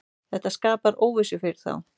Þetta skapar óvissu fyrir þá.